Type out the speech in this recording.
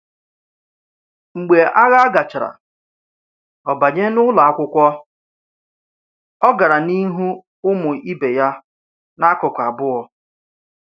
Mgbe agha gachara, o banye n’ụlọ akwụkwọ, ọ gara n’ihu ụmụ ibe ya n’akụkụ abụọ.